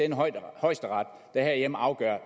jo højesteret der herhjemme afgør